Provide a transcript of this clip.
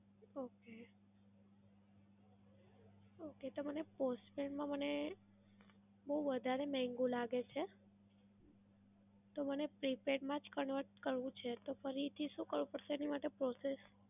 Okay. okay તો મને postpaid માં મને બઉ વધારે મહેંગુ લાગે છે, તો મને prepaid માંજ convert કરવું છે તો ફરી થી શું કરવું પડશે એની માટે process?